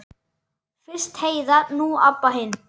Fyrst Heiða, nú Abba hin.